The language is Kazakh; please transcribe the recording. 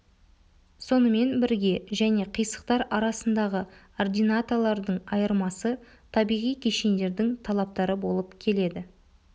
сонымен бірге және қисықтар арасындағы ординаталардың айырмасы табиғи кешендердің талаптары болып келеді